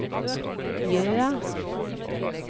Jøa